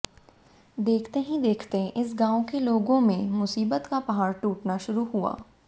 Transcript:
देखते ही देखते इस गांव के लोगों में मुसीबत का पहाड़ टूटना शुरू हुआ